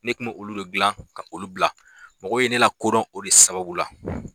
Ne tun bɛ olu de dilan ka olu bila mɔgɔw ye ne lakodɔn o de sababu la